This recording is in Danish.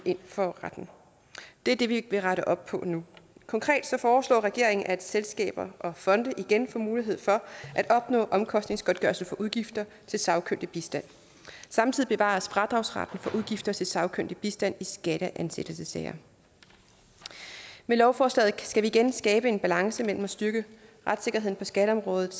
for retten det det vil vi rette op på nu konkret foreslår regeringen at selskaber og fonde igen får mulighed for at opnå omkostningsgodtgørelse for udgifter til sagkyndig bistand samtidig bevares fradragsretten for udgifter til sagkyndig bistand i skatteansættelsessager med lovforslaget skal vi igen skabe en balance mellem en styrkelse af retssikkerheden på skatteområdet